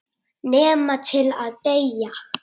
Nema til að deyja.